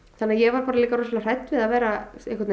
þannig að ég var líka bara hrædd við að vera